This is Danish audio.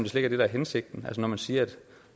slet ikke er hensigten man siger at